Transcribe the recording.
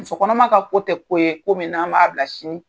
Muso kɔnɔma ka ko tɛ ko ye ko min n'an b'a bila sini na.